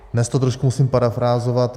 Dnes to trošku musím parafrázovat.